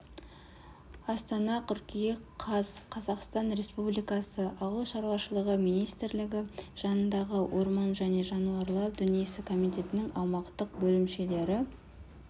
астана қыркүйек қаз қазақстан республикасы ауыл шаруашылығы министрлігі жанындағы орман және жануарлар дүниесі комитетінің аумақтық бөлімшелері